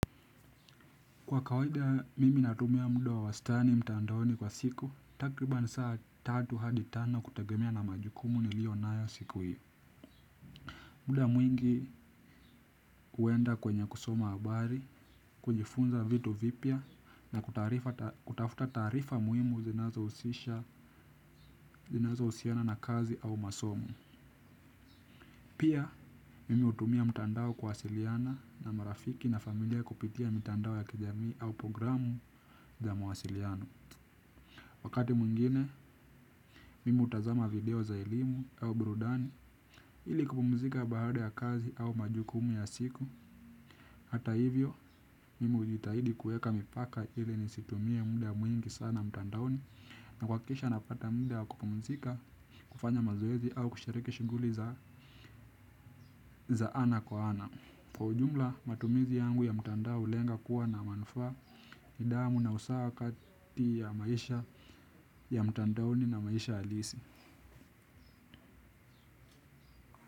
Kwa kawada mimi natumia mud wa wastani mtandaoni kwa siku, takriban saa tatu hadi tano kutagemea na majukumu ni liyo nayo siku hiyo. Muda mwingi huenda kwenye kusoma habari, kujifunza vitu vipya, na kutafuta tarifa muhimu zinazo husiana na kazi au masomo. Pia, mimi hutumia mtandao kuwasiliana na marafiki na familia kupitia mitandao ya kijamii au programu za mwasiliano. Wakati mwingine, mimi utazama video za elimu au burudani ili kupumzika baada ya kazi au majukumu ya siku. Hata hivyo, mimi hujitahidi kueka mipaka ili ni situmie muda mwingi sana mtandaoni na kuhakikisha napata muda wa kupumzika kufanya mazoezi au kushariki shuguli za ana kwa ana. Kwa ujumla, matumizi yangu ya mtandao hulenga kuwa na manufa nidamu na usawa kati ya maisha ya mtandaoni na maisha alisi.